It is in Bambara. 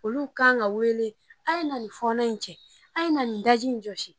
Olu kan ka wele a ye na nin fɔɔnɔ in cɛ ,a ye na nin daji in jɔsi.